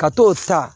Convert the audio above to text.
Ka t'o ta